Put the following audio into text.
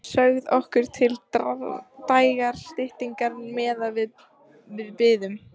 Sögð okkur til dægrastyttingar meðan við biðum.